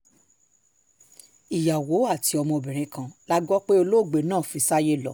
ìyàwó àti ọmọbìnrin kan la gbọ́ pé olóògbé náà fi sáyé lọ